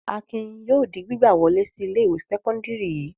Akin yóò di gbígbà wọlé sí ilé-ìwé sẹ́kọ́ndárì yìí.